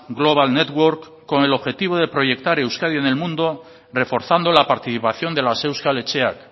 global network con el objetivo de proyectar euskadi en el mundo reforzando la participación de las euskal etxeak